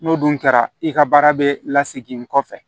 N'o dun kɛra i ka baara bɛ lasegin n kɔfɛ